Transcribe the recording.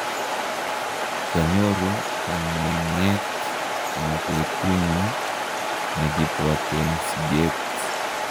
kianyoru kang'weng'et eng' betunyu nekibwoten siget.